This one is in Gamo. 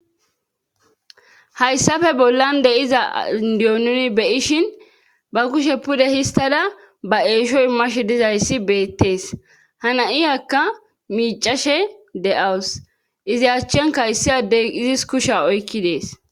hayssafe bollan deyiza indiononi beyishin ba kushe pude histada ba eeshoy mashe dizayssi beettees hana7iyakka miicashe de7awus izi achchen kayssi addey izis kushe oykki dees